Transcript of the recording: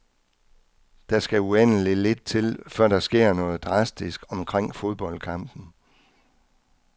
Der skal uendeligt lidt til, før der sker noget drastisk omkring fodboldkampen.